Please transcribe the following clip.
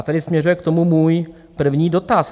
A tady směřuje k tomu můj první dotaz.